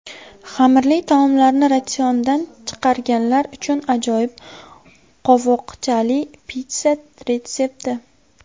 Xamirli taomlarni ratsiondan chiqarganlar uchun ajoyib qovoqchali pitssa retsepti!